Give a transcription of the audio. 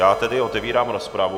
Já tedy otevírám rozpravu.